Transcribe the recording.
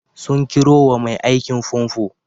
Sun kirowa mai aikin famfo?